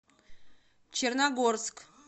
черногорск